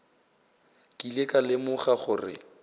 ke ile ka lemoga gore